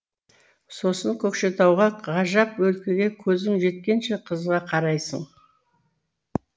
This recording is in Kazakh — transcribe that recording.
сосын көкшетауға ғажап өлкеге көзің жеткенше қызыға қарайсың